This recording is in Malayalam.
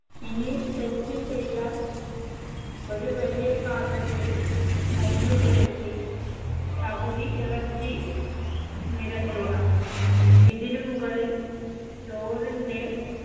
ഇനി set ചെയ്യാൻ ഒരു വലിയ പാത്രത്തിൽ നെയ്യ് പുരട്ടി പകുതി ഇറച്ചി നിരത്തുക ഇതിനുമുകളിൽ ചോറിന്റെ